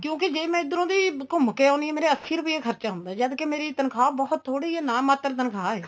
ਕਿਉਂਕਿ ਜੇ ਮੈਂ ਇੱਧਰੋ ਦੀ ਘੁੰਮ ਕੇ ਆਉਣੀ ਆ ਮੇਰੇ ਅੱਸੀਂ ਰੁਪਏ ਖਰਚਾ ਹੁੰਦਾ ਜਦ ਕੀ ਮੇਰੀ ਤਨਖਾਹ ਬਹੁਤ ਥੋੜੀ ਏ ਨਾ ਮਾਤਰ ਤਨਖਾਹ ਏ